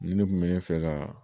Nin ne kun bɛ ne fɛ ka